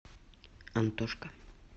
антошка